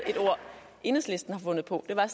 enhedslisten har fundet på det var